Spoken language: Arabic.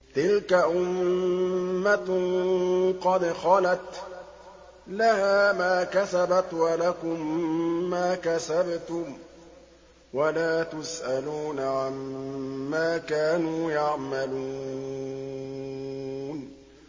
تِلْكَ أُمَّةٌ قَدْ خَلَتْ ۖ لَهَا مَا كَسَبَتْ وَلَكُم مَّا كَسَبْتُمْ ۖ وَلَا تُسْأَلُونَ عَمَّا كَانُوا يَعْمَلُونَ